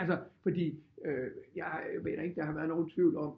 Altså fordi jeg mener ikke der har været nogen tvivl om